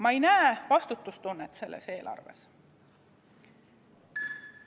Ma ei näe vastutustunnet selles eelarves.